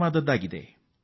ಅದು ಕಾರ್ಟೋಸ್ಯಾಟ್ 2ಡಿ